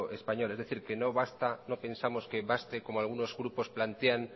español es decir que no pensamos que baste como algunos grupos plantean